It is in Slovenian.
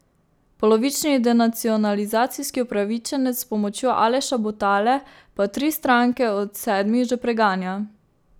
Polovični denacionalizacijski upravičenec s pomočjo Aleša Butale pa tri stranke od sedmih že preganja.